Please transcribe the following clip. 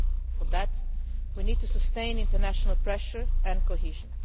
For that, we need to sustain international pressure and cohesion.